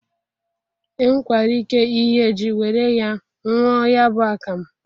Enwekwara ike ighe ji were ya nwụọ ya bụ akamụ.